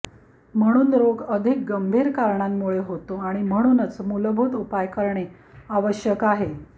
म्हणून रोग अधिक गंभीर कारणांमुळे होतो आणि म्हणूनच मूलभूत उपाय करणे आवश्यक आहे